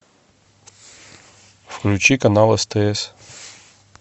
включи канал стс